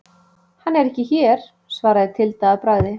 Hann er ekki hér, svaraði Tilda að bragði.